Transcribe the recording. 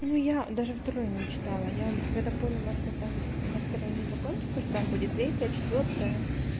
ну я даже второе не читала я когда поняла что там на второй не закончилась что там будет третья четвёртая